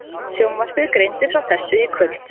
Sjónvarpið greindi frá þessu í kvöld